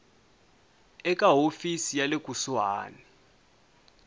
eka hofisi ya le kusuhani